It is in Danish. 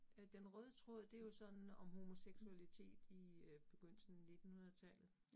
Øh den røde tråd det jo sådan om homoseksualitet i øh begyndelsen af nittenhundredetallet